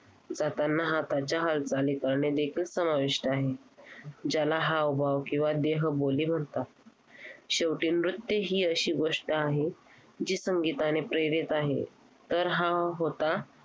जातांना हाताच्या हालचाली करणे देखील समाविष्ट आहे. ज्याला हावभाव किंवा देहबोली म्हणतात. शेवटी नृत्य ही एक अशी गोष्ट आहे, जी संगीताने प्रेरित आहे